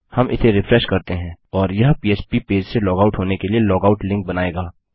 हम इसे रिफ्रेश करते हैं और यह पह्प पेज से लॉगआउट होने के लिए लॉगआउट लिंक बनायेगा